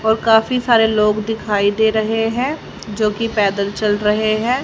और काफी सारे लोग दिखाई दे रहे हैं जो कि पैदल चल रहे हैं।